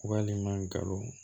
Walima galon